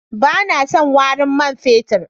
Ba na son warin man fetur.